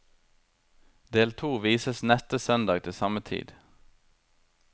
Del to vises neste søndag til samme tid.